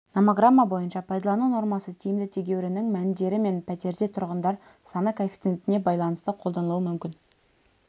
номограмма бойынша пайдалану нормасы тиімді тегеуріннің мәндері мен пәтерде тұрғындар саны коэффициентіне байланысты қолданылуы мүмкін